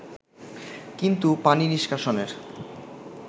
কিন্তু পানি নিষ্কাশনের